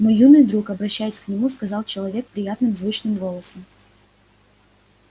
мой юный друг обращаясь к нему сказал человек приятным звучным голосом